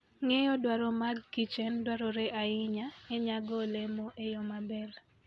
Ng'eyo dwaro mag kichen dwarore ahinya e nyago olemo e yo maber.